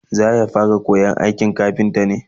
zaya fara koyan aikin kafinta ne?